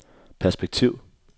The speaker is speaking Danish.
perspektiv